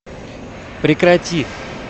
прекрати